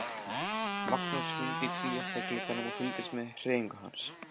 Magnús hímdi tvíátta í glugganum og fylgdist með hreyfingum hans.